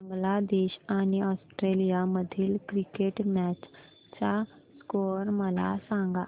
बांगलादेश आणि ऑस्ट्रेलिया मधील cricket match चा स्कोअर मला सांगा